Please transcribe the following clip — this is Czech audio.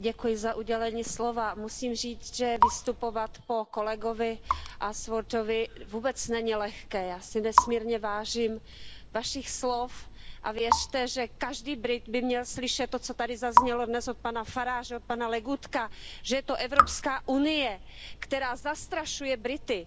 Paní předsedající, musím říct, že vystupovat po kolegovi Ashworthovi vůbec není lehké. Já si nesmírně vážím Vašich slov a věřte, že každý Brit by měl slyšet to, co tady zaznělo dnes od pana Farage, od pana Legutka, že je to Evropská unie, která zastrašuje Brity.